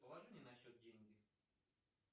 положи мне на счет деньги